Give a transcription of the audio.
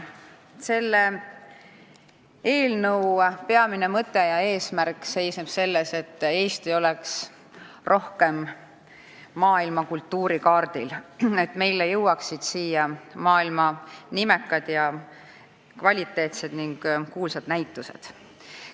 Selle eelnõu peamine mõte ja eesmärk seisneb selles, et Eesti oleks rohkem maailma kultuurikaardil, et meile jõuaksid siia maailma nimekad, kvaliteetsed ja kuulsad näitused.